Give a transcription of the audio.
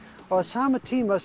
á sama tíma